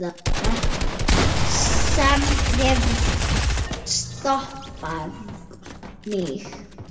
Ekkert sem hefur stoppað mig.